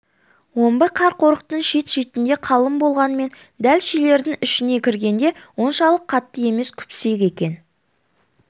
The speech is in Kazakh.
омбы қар қорықтың шет-шетінде қалың болғанмен дәл шилердің ішіне кіргенде оншалық қатты емес күпсек екен